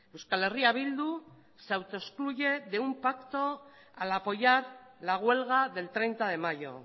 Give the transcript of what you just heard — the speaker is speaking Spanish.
euskal herria bildu se autoexcluye de un pacto al apoyar la huelga del treinta de mayo